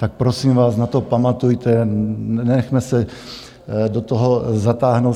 Tak prosím vás, na to pamatujte, nenechme se do toho zatáhnout.